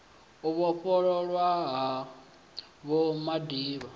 u vhofhololwa ha vho madiba